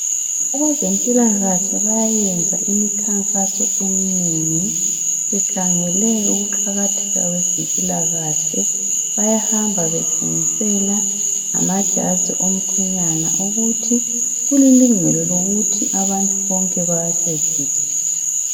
Abezempilakahle bayayenza imikhankaso eminengi bekhangele ukuqakatheka kwezempilakahle, bayahamba betshengisela amajazi omkhwenyana ukuthi kulilungelo lokuthi abantu bonke bawasebenzise.